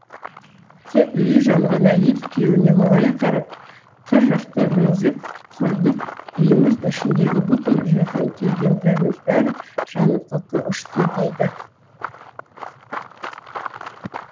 тек үйі жанған әйел күйеуіне мұңая қарап қыр жақты меңзеп құрыдық үйіміз ішіндегі бүкіл жиған тергендеріміз бәрі жанып көкке ұшты дейді